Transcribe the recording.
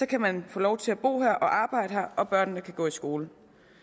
kan man få lov til at bo og arbejde her og børnene kan gå i skole